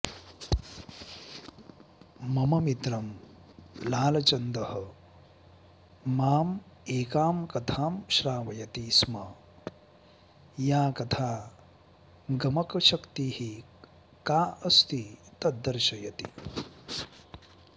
मम मित्रं लालचन्दः माम् एकां कथां श्रावयति स्म या कथा गमकशक्तिः का अस्ति तद् दर्शयति